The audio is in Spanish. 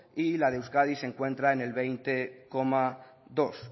y la de euskadi se encuentra en el veinte coma dos